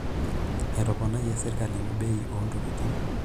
Etoponayie serkali bei oontokitin.